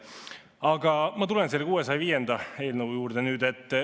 Aga ma tulen nüüd selle 605. eelnõu juurde.